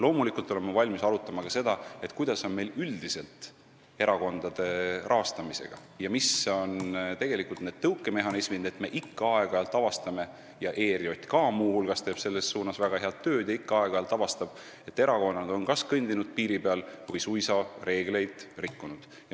Loomulikult olen ma valmis arutama ka seda, kuidas on meil üldiselt erakondade rahastamisega ning mis on need tõukemehhanismid, et me ikka aeg-ajalt avastame – muu hulgas ERJK teeb selle nimel väga head tööd –, et erakonnad on kas kõndinud piiri peal või suisa reegleid rikkunud.